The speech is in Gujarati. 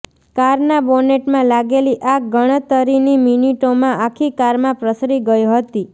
કારના બોનેટમાં લાગેલી આગ ગણતરીની મિનિટોમાં આખી કારમાં પ્રસરી ગઇ હતી